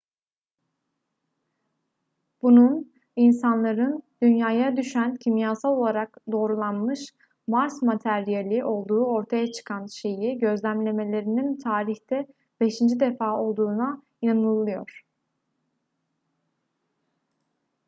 bunun insanların dünya'ya düşen kimyasal olarak doğrulanmış mars materyali olduğu ortaya çıkan şeyi gözlemlemelerinin tarihte beşinci defa olduğuna inanılıyor